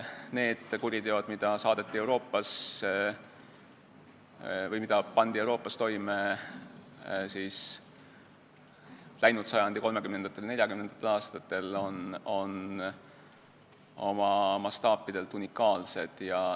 Need kuriteod, mis pandi Euroopas toime läinud sajandi kolmekümnendatel ja neljakümnendatel aastatel, on oma mastaapidelt unikaalsed.